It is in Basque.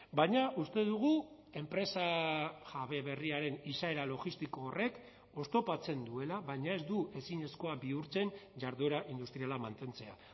baina uste dugu enpresa jabe berriaren izaera logistiko horrek oztopatzen duela baina ez du ezinezkoa bihurtzen jarduera industriala mantentzea